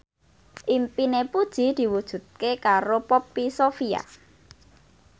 impine Puji diwujudke karo Poppy Sovia